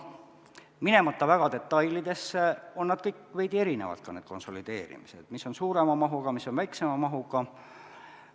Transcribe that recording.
Minemata väga detailidesse, ütlen, et nad kõik on veidi erinevad, need konsolideerimised, mis on suurema mahuga, mis on väiksema mahuga.